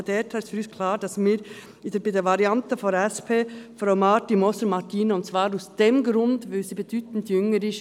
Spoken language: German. Deshalb ist für uns klar, dass wir bei der SP-Variante Frau Martina Marti-Moser voll unterstützen, und zwar aus dem Grund, dass sie bedeutend jünger ist.